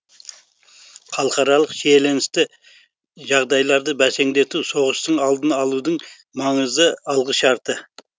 халықаралық шиеленісті жағдайларды бәсеңдету соғыстың алдын алудың маңызды алғышарты